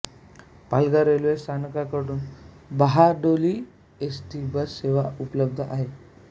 Palghar railway स्थानकातून बहाडोली ST bus सेवा उपलब्ध आहे